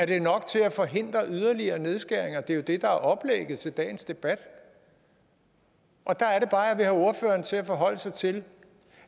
det er nok til at forhindre yderligere nedskæringer det er jo det der er oplægget til dagens debat og der er det bare jeg vil have ordføreren til at forholde sig til